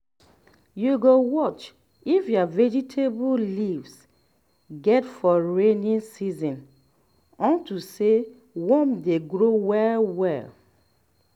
you go watch if your vegetable leaves get for rainy season unto say worm dey grow well well